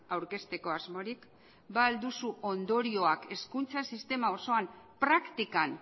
aurkezteko asmorik ba al duzu ondorioak hezkuntza sistema osoan praktikan